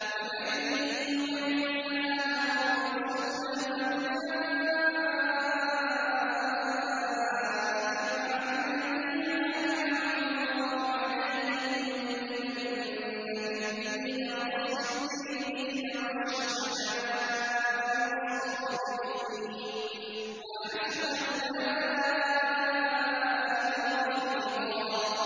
وَمَن يُطِعِ اللَّهَ وَالرَّسُولَ فَأُولَٰئِكَ مَعَ الَّذِينَ أَنْعَمَ اللَّهُ عَلَيْهِم مِّنَ النَّبِيِّينَ وَالصِّدِّيقِينَ وَالشُّهَدَاءِ وَالصَّالِحِينَ ۚ وَحَسُنَ أُولَٰئِكَ رَفِيقًا